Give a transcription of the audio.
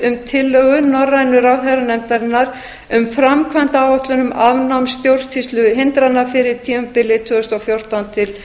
um tillögu norrænu ráðherranefndarinnar um afnám stjórnsýsluhindrana fyrir tímabilið tvö þúsund og fjórtán til